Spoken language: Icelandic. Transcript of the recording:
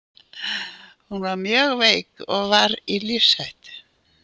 Hún var mjög mjög veik og var í lífshættu.